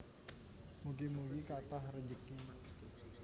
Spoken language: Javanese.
Mugi mugi kathah rejeki